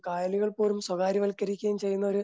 കായലുകൾ പോലും സ്വകാര്യവൽക്കരിക്കുകയും ചെയ്യുന്ന ഒരു